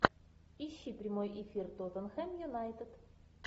ищи прямой эфир тоттенхэм юнайтед